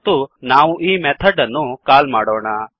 ಮತ್ತು ನಾವು ಈ ಮೆಥಡ್ ಅನ್ನು ಕಾಲ್ ಮಾಡೋಣ